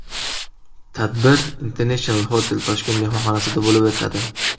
Tadbir International Hotel Tashkent mehmonxonasida bo‘lib o‘tadi.